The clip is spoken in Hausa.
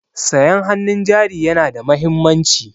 Sayan hannun jari yana da mahimmanci.